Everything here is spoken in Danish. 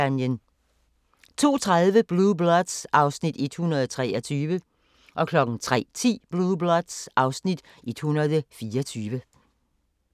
02:30: Blue Bloods (Afs. 123) 03:10: Blue Bloods (Afs. 124)